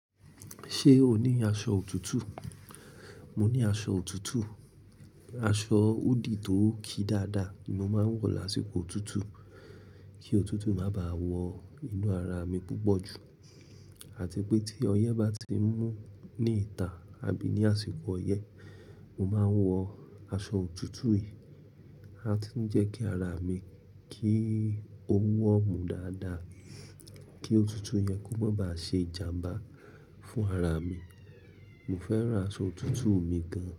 Ṣé o ní aṣọ òtútù? Mo ní aṣọ òtútù, aṣọ hoodie tó ki dáadáa mo máa ń wọ̀ lásìkò òtútù kí òtútù má bá à wọ inú ara mi púpọ̀ jù àti pé tí ọyẹ́ bá ti ń mú ní ìta àbí ní àsìkò ọyẹ́, mo máa ń wọ aṣọ òtútù yìí, a ti ń jẹ́ kí ara mi kí ó warm dáadáa kí òtútù yẹn kó má bá ṣe ìjàmbá fún ara mi. Mo fẹ́ràn aṣọ òtútù mi gan.